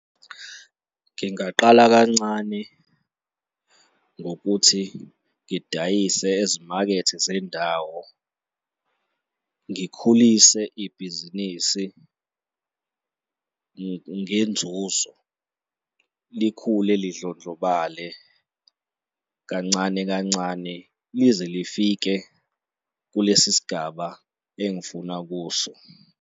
Ngingaqala kancane ngokuthi ngidayise ezimakethe zendawo, ngikhulise ibhizinisi ngenzuzo likhule lidlondlobale kancane kancane lize lifike kulesi sigaba engifuna kuso.